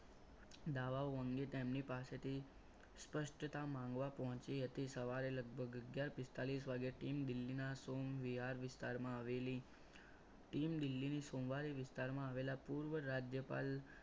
દાવાઓ અંગે તેમની પાસેથી સ્પષ્ટતા માંગવા પહોંચી હતી સવારે લગભગ અગિયાર પિસ્તાલીસ વાગે team દિલ્હીના વિહાર વિસ્તારમાં આવેલી team દિલ્હીની સોમવારે વિસ્તારમાં આવેલા પૂર્વ રાજ્યપાલ